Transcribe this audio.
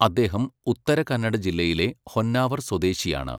അദ്ദേഹം ഉത്തര കന്നഡ ജില്ലയിലെ ഹൊന്നാവർ സ്വദേശിയാണ്.